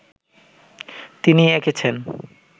তিনিই এঁকেছেন